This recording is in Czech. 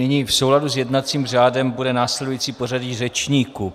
Nyní v souladu s jednacím řádem bude následující pořadí řečníků.